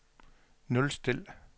nulstil